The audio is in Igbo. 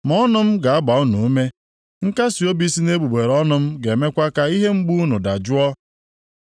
Ma ọnụ m ga-agba unu ume; nkasiobi si nʼegbugbere ọnụ m ga-emekwa ka ihe mgbu unu dajụọ.